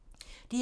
DR2